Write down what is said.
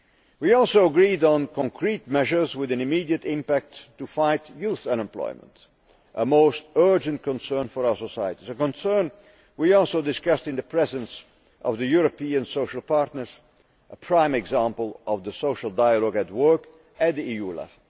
We also agreed on concrete measures with an immediate impact to fight youth unemployment, which is a most urgent concern for our societies and a concern we also discussed in the presence of the European social partners in a prime example of social dialogue at work at EU level.